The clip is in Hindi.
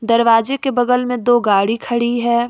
दरवाजे के बगल में दो गाड़ी खड़ी है।